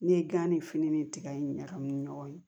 Ne ye gan ni fini ni tiga in ɲagami ɲɔgɔn na